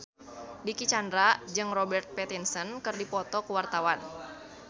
Dicky Chandra jeung Robert Pattinson keur dipoto ku wartawan